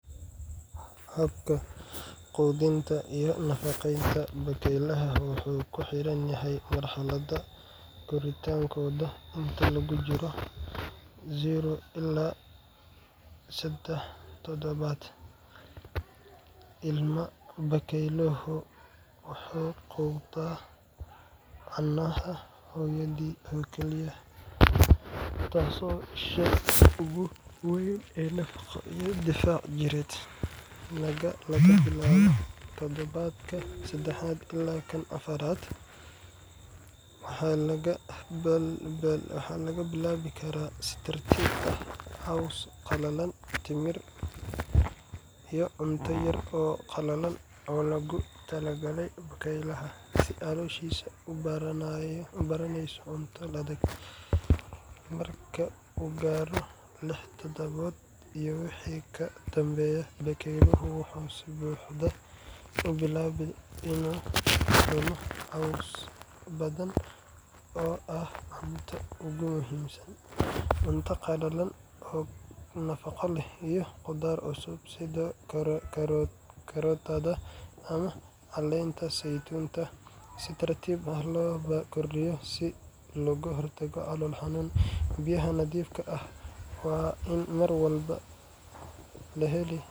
Habka quudinta iyo nafaqeynta bakaylaha wuxuu ku xiranyahay marxaladda korriinkooda. Inta lagu jiro eber ilaa seedex toddobaad, ilma-bakayluhu wuxuu quuddaa caanaha hooyadii oo keliya, taasoo ah isha ugu weyn ee nafaqo iyo difaac jireed. Laga bilaabo toddobaadka sedexaad ilaa afaraad, waxaa lagu bilaabi karaa si tartiib ah caws qalalan timir iyo cunto yar oo qallalan oo loogu talagalay bakaylaha, si calooshiisa u baranayso cunto adag. Marka uu gaaro lix toddobaad iyo wixii ka dambeeya, bakaylaha wuxuu si buuxda u bilaabaa inuu cuno caws badan oo ah cuntada ugu muhiimsan, cunto qallalan oo nafaqo leh, iyo khudaar cusub sida karootada ama caleenta saytuunka si tartiib ah loo kordhiyo si looga hortago calool xanuun. Biyaha nadiifka ah waa in mar walba la heli